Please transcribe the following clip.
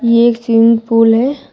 ये एक swimming pool है।